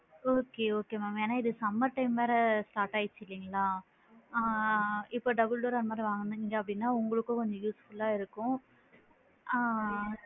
Okay okay ma'am ஏன்னா இது summer time வேற start ஆகிடுச்சு இல்லைங்களா ஆ இப்போ double door அந்த மாதிரி வாங்குனிங்கனா உங்களுக்கும் கொஞ்சம் useful லா இருக்கும் ஆ